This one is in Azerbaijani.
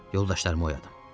Yoldaşlarımı oyadım.